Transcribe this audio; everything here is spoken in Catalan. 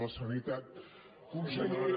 la sanitat conseller